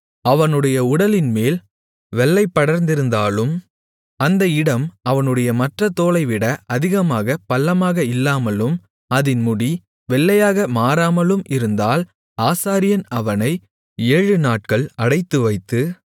அவனுடைய உடலின்மேல் வெள்ளைப்படர்ந்திருந்தாலும் அந்த இடம் அவனுடைய மற்றத் தோலைவிட அதிக பள்ளமாக இல்லாமலும் அதின் முடி வெள்ளையாக மாறாமலும் இருந்தால் ஆசாரியன் அவனை ஏழுநாட்கள் அடைத்துவைத்து